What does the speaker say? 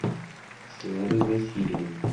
славой васильевым